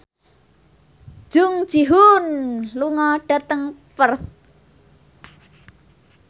Jung Ji Hoon lunga dhateng Perth